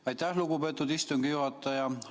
Aitäh, lugupeetud istungi juhataja!